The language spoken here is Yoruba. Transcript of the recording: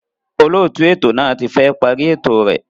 Olóòtú ètò náà ti fẹ́ parí ètò rẹ̀